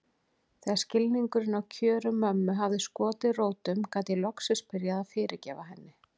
Þegar skilningurinn á kjörum mömmu hafði skotið rótum gat ég loksins byrjað að fyrirgefa henni.